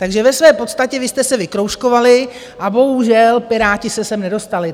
Takže ve své podstatě vy jste se vykroužkovali a bohužel Piráti se sem nedostali.